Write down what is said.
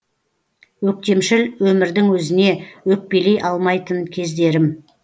өктемшіл өмірдің өзіне өкпелей алмайтын кездерім